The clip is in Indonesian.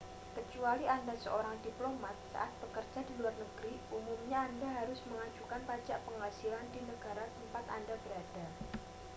kecuali anda seorang diplomat saat bekerja di luar negeri umumnya anda harus mengajukan pajak penghasilan di negara tempat anda berada